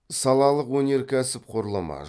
салалық өнеркәсіп құрылымы